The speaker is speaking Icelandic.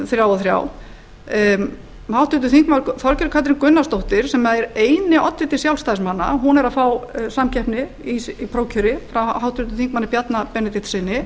þrjá og þrjá háttvirtur þingmaður þorgerður katrín gunnarsdóttir sem er eini oddviti sjálfstæðismanna er að fá samkeppni í prófkjöri frá háttvirts þingmanns bjarna benediktssyni